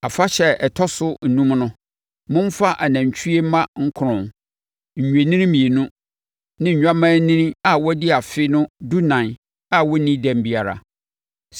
“ ‘Afahyɛ ɛda a ɛtɔ so enum no, momfa anantwie mma nkron, nnwennini mmienu ne nnwammaanini a wɔadi afe no dunan a wɔnnii dɛm biara.